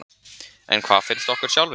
En hvað finnst okkur sjálfum?